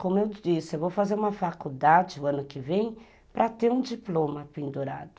Como eu disse, eu vou fazer uma faculdade o ano que vem para ter um diploma pendurado.